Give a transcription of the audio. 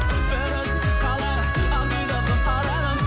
бір өзіңді қалаймын ақ дидарлы арайлым